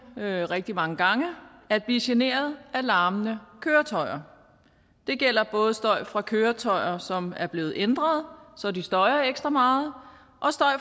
vi rigtig mange gange at blive generet af larmende køretøjer det gælder både støj fra køretøjer som er blevet ændret så de støjer ekstra meget